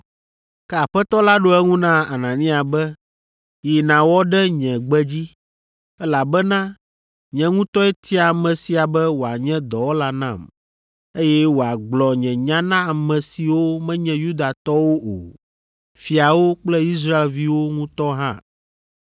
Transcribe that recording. Ke Aƒetɔ la ɖo eŋu na Anania be, “Yi nàwɔ ɖe nye gbe dzi, elabena nye ŋutɔe tia ame sia be wòanye dɔwɔla nam, eye wòagblɔ nye nya na ame siwo menye Yudatɔwo o, fiawo kple Israelviwo ŋutɔ hã,